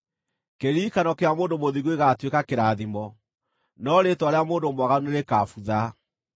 Kĩririkano kĩa mũndũ mũthingu gĩgatuĩka kĩrathimo, no rĩĩtwa rĩa mũndũ mwaganu nĩrĩkabutha.